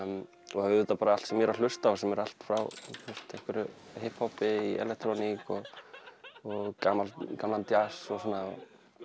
og auðvitað bara allt sem ég er að hlusta á allt frá einhverju hipp hoppi yfir í elektróníu og gamlan djass og svona